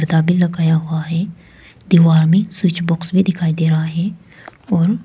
भी लगाया हुआ है दीवार में स्विच बॉक्स भी दिखाई दे रहा है और--